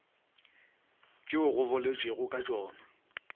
tšeo go boletšwego ka tšona